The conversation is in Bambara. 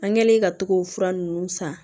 An kɛlen ka togofu ninnu san